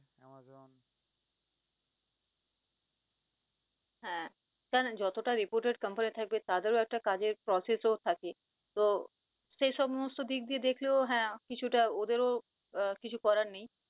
হ্যাঁ কারন যতটা reputated company থাকবে তাদের ও একটা কাজের process থাকে, তো সেই সমস্ত দিক দিয়ে দেখলেও হ্যাঁ কিছুটা ওদেরও কিছু করার নেই।